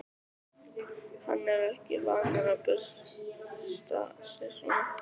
Hann er ekki vanur að byrsta sig svona.